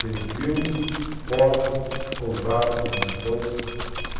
Têm filmes, fotos, contatos, abduções.